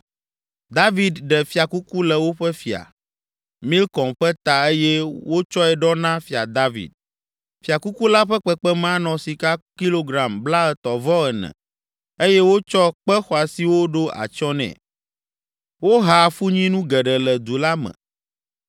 David ɖe fiakuku le woƒe fia, Milkom ƒe ta eye wotsɔe ɖɔ na Fia David. Fiakuku la ƒe kpekpeme anɔ sika kilogram blaetɔ̃-vɔ-ene eye wotsɔ kpe xɔasiwo ɖo atsyɔ nɛ. Woha afunyinu geɖe le du la me.